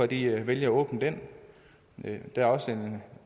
de vælger at åbne den der er også